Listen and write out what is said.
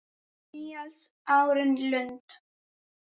Níels Árni Lund.